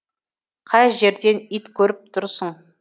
қай жерден ит көріп тұрсың